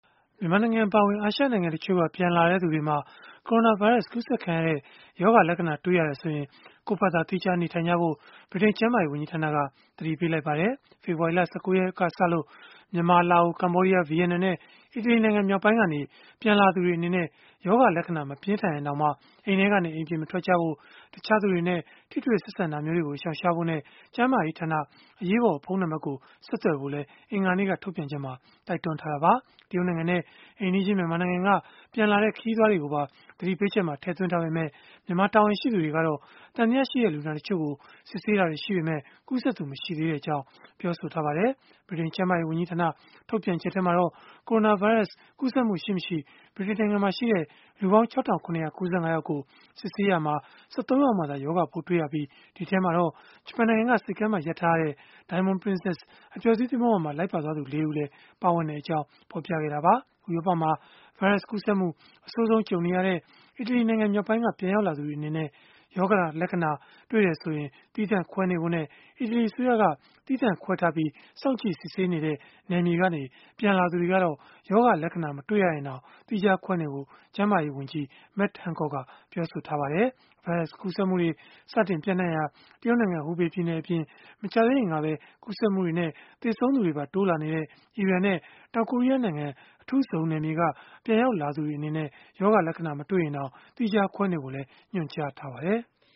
မြန်မာနိုင်ငံ အပါအဝင် အာရှနိုင်ငံတချို့က ပြန်လာသူတွေမှာ ကိုရိုနာဗိုင်းရပ်စ် ကူးစက်ခံရတဲ့ ရောဂါလက္ခဏာ တွေ့ရတယ်ဆိုရင် ကိုယ့်ဖာသာ သီးခြားနေထိုင်ဖို့ ဗြိတိန်ကျန်းမာရေးဝန်ကြီးဌာနက သတိပေးလိုက်ပါတယ်။ ဖေဖော်ဝါရီလ ၁၉ ရက်ကစပြီး မြန်မာ၊ လာအို၊ ကမ္ဘောဒီးယား၊ ဗီယက်နမ်နဲ့ အီတလီနိုင်ငံမြောက်ပိုင်းကနေ ပြန်ရောက်လာသူတွေ အနေနဲ့ ရောဂါလက္ခဏာ မပြင်းထန်ရင်တောင် အိမ်ထဲက အိမ်ပြင်မထွက်ဖို့၊ တခြားသူတွေနဲ့ ထိတွေ့ဆက်ဆံတာာတွေကို ရှောင်ရှားဖို့နဲ့ ကျန်းမာရေးဌာန အရေးပေါ်ဖုန်းနံပတ်ကို ဆက်သွယ်ဖို့လည်း အင်္ဂါနေ့က ထုတ်ပြန်ချက်မှာ တိုက်တွန်းထားတာပါ။ တရုတ်နိုင်ငံနဲ့ အိမ်နီးချင်း မြန်မာနိုင်ငံက ပြန်လာတဲ့ ခရီးသွားတွေကိုပါ သတိပေးချက်မှာ ထည့်သွင်းထားပေမဲ့ မြန်မာတာဝန်ရှိသူတွေကတော့ သံသယရှိတဲ့ လူနာတချို့ကို စစ်ဆေးတာတွေ ရှိပေမဲ့ ကူးစက်သူ မရှိသေးကြောင်း ပြောဆိုထားပါတယ်။ ဗြိတိန်ကျန်းမာရေး ဝန်ကြီးဌာန ထုတ်ပြန်ချက်မှာတော့ ကိုရိုနာဗိုင်းရပ်စ် ကူးစက်မှုရှိမရှိ လူပေါင်း ၆,၇၉၅ ယောက်ကို စစ်ဆေးရာမှာ ၁၃ ယောက်မှာသာ ရောဂါပိုးတွေ့ရှိခဲ့ရပြီး ဒီအထဲမှာတော့ ဂျပန်နိုင်ငံက ဆိပ်ကမ်းမှာ ရပ်ထားရတဲ့ Diamond Princess အပျော်စီး သင်္ဘောပေါ်မှာ လိုက်ပါသွားသူ ၄ ဦးလည်း ပါဝင်ကြောင်း ဖော်ပြခဲ့တာပါ။ ဥရောပမှာ ဗိုင်းရပ်စ်ကူးစက်မှု အဆိုးဆုံး ကြုံနေရတဲ့ အီတလီနိုင်ငံ မြောက်ပိုင်းကနေ ပြန်ရောက်လာသူတွေ အနေနဲ့ ရောဂါလက္ခဏာ တွေ့တယ်ဆိုရင် သီးသန့်ခွဲနေဖို့နဲ့ အီတလီ အစိုးရက သီးသန့်ခွဲထားပြီး စောင့်ကြည့်စစ်ဆေးနေတဲ့ နယ်မြေကနေ ပြန်လာသူတွေကတော့ ရောဂါလက္ခဏာ မတွေ့ရင်တောင် သီးခြားခွဲနေဖို့ ကျန်းမာရေးဝန်ကြီး Matt Hancock ကပြောဆိုခဲ့ပါတယ်။ ဗိုင်းရပ်စ်ကူးစက်မှုတွေ စတင်ပျံ့နှံ့ရာ တရုတ်နိုင်ငံ ဟူဘေပြည်နယ်အပြင် မကြာသေးခင်ကပဲ ကူးစက်မှုတွေနဲ့ သေဆုံးသူတွေပါ တိုးလာနေတဲ့ အီရန်နဲ့ တောင်ကိုရီးယားနိုင်ငံ အထူးဇုံနယ်မြေက ပြန်ရောက်လာသူတွေ အနေနဲ့လည်း ရောဂါလက္ခဏာ မတွေ့ရရင်တောင် သီးခြားခွဲနေကြဖို့လည်း ညွန်ကြားထားပါတယ်။